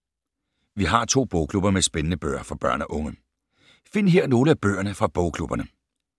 Vi har to bogklubber med spændende bøger for børn og unge. Find her nogle af bøgerne fra bogklubberne.